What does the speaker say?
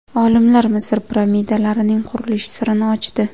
Olimlar Misr piramidalarining qurilish sirini ochdi.